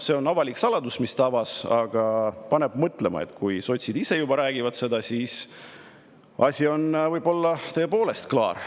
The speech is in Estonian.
See on avalik saladus, mille ta avaldas, aga paneb mõtlema, et kui sotsid juba ise seda räägivad, siis on asi võib-olla tõepoolest klaar.